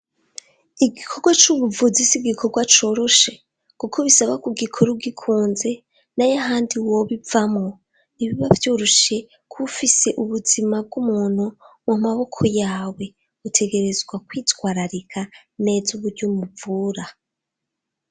Igikorwa c'ubuvuzi s'igikorwa coroshe kuko bisaba k'ugikora ugikunze nay'ahandi wobivamwo, ntibiba vyoroshe kuba ufise ubuzima bw'umuntu mu maboko yawe, utegerezwa kwitwararika neza uburyo umuvura.